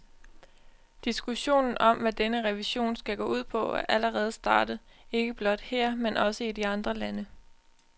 Diskussionen om, hvad denne revision skal gå ud på, er allerede startet, ikke blot her men også i de andre lande.